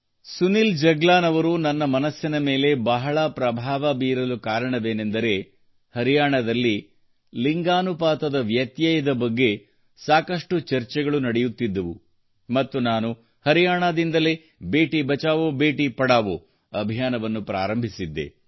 ಸುನಿಲ್ ಜಗ್ಲಾನ್ ಅವರು ನನ್ನ ಮನಸ್ಸಿನ ಮೇಲೆ ಬಹಳ ಪ್ರಭಾವ ಬೀರಲು ಕಾರಣವೇನೆಂದರೆ ಹರಿಯಾಣದಲ್ಲಿ ಲಿಂಗ ಅನುಪಾತದ ಬಗ್ಗೆ ಸಾಕಷ್ಟು ಚರ್ಚೆಗಳು ನಡೆಯುತ್ತಿದ್ದವು ಮತ್ತು ನಾನು ಹರಿಯಾಣದಿಂದಲೇ ಬೇಟಿ ಬಚಾವೋಬೇಟಿ ಪಢಾವೋ ಅಭಿಯಾನವನ್ನು ಪ್ರಾರಂಭಿಸಿದೆ